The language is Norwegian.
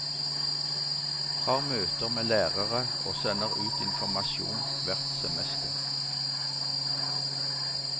Har møter med lærere og sender ut informasjon hvert semester.